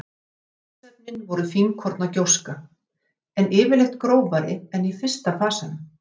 Gosefnin voru fínkorna gjóska, en yfirleitt grófari en í fyrsta fasanum.